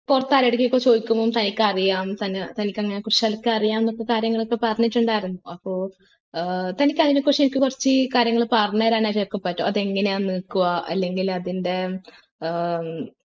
pared നെ ഒക്കെ ചോയ്ക്കുമ്പോ തനിക്ക് അറിയാം തന്നെ തനിക്ക് അതിനെ കുറിച്ച് തനിക്കറിയാമെന്നുള്ള കാര്യങ്ങളൊക്കെ പറഞ്ഞിട്ടുണ്ടായിരുന്നു അപ്പൊ ഏർ തനിക്ക് അതിനെ കുറിച്ച് എനിക്ക് കുറച്ച് കാര്യങ്ങൾ പറഞ്ഞേരനായിട്ട് നിനക്ക് പറ്റോ അത് എങ്ങനാ നിക്കുവാ അല്ലെങ്കിൽ അതിൻ്റെ ഏർ